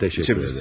Təşəkkür edərəm.